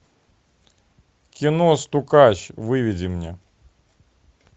кино стукач выведи мне